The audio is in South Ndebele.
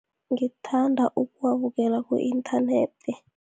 Ngithanda ukuwabukela ku-inthanethi.